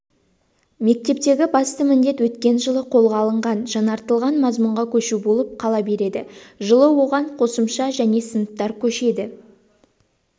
мектептегі басты міндет өткен жылы қолға алынған жаңартылған мазмұнға көшу болып қала береді жылы оған қосымша және сыныптар көшеді